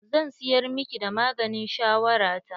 Zan siyar miki da maganin shawara ta.